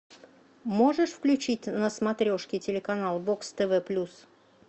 можешь включить на смотрешке телеканал бокс тв плюс